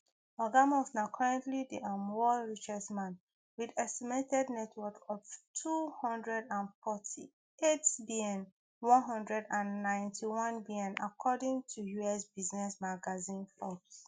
oga musk na currently di um world richest man wit estimated net worth of two hundred and forty-eight bn one hundred and ninety-one bn according to us business magazine forbes